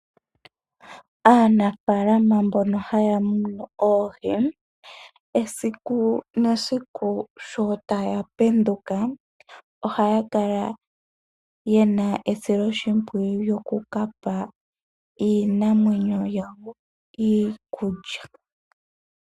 Aanafaalama mbono haya munu oohi esiku nesiku sho taya penduka ohaya kala ye na esiloshimpwiyu lyokuka pa iinamwenyo yawo iikulya.